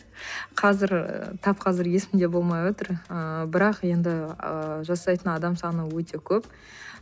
қазір тап қазір есімде болмай отыр ыыы бірақ енді ы жасайтын адам саны өте көп